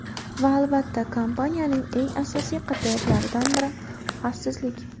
Va albatta, kompaniyaning eng asosiy qadriyatlaridan biri – xavfsizlik!